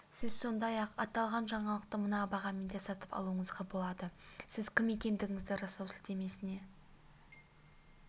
сіз сондай-ақ аталған жаңалықты мына бағамен де сатып алуыңызға болады сіз кім екендігіңізді растау сілтемесіне